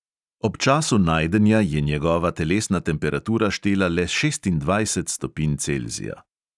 Ob času najdenja je njegova telesna temperatura štela le šestindvajset stopinj celzija.